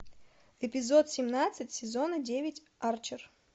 эпизод семнадцать сезона девять арчер